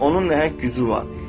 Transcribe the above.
Onun nəhəng gücü var.